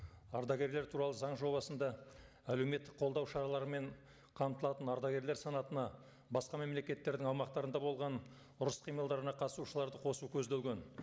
ардагерлер туралы заң жобасында әлеуметтік қолдау шараларымен қамтылатын ардагерлер санатына басқа мемлекеттердің аумақтарында болған ұрыс қимылдарына қатысушыларды қосу көзделген